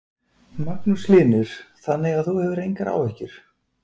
Magnús Hlynur: Þannig að þú hefur engar áhyggjur?